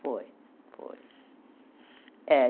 Foi, foi. É